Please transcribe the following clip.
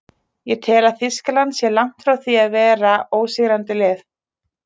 Ég tel að Þýskaland sé langt frá því að vera ósigrandi lið.